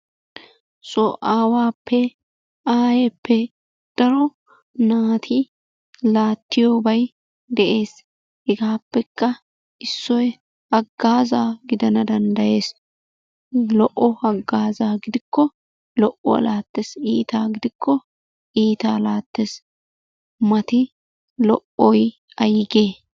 So aawaappe aayeeppe daro naati laattiyobay de'ees. Heggaappekka issoy haggaazaa gidana danddayees. Lo'o haggaazzaa gidikko lo'obaa laattes. Iitaa gidikko iitaa laattes. Mati lo'oy ayigee?